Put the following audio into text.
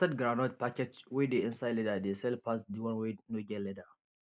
roasted groundnut packaged wey dey inside leather dey sell pass the one wey no get leather